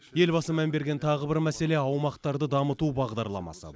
елбасы мән берген тағы бір мәселе аумақтарды дамыту бағдарламасы